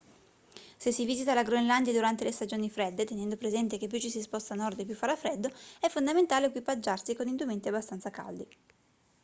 se si visita la groenlandia durante le stagioni fredde tenendo presente che più ci si sposta a nord e più farà freddo è fondamentale equipaggiarsi con indumenti abbastanza caldi